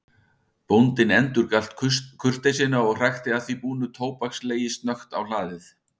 Bóndinn endurgalt kurteisina og hrækti að því búnu tóbakslegi snöggt á hlaðið.